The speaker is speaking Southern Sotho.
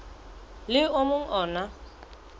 le o mong o na